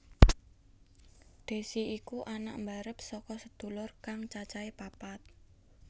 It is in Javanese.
Desy iku anak mbarep saka sedulur kang cacahe papat